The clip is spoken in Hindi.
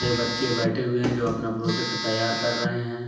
ये बच्चे बैठे हुए हैं जो अपना प्रोजेक्ट तैयार कर रहे हैं।